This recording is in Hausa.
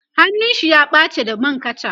hannun shi ya ɓace da man kacha